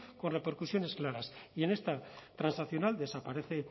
con repercusiones claras y en esta transaccional desaparece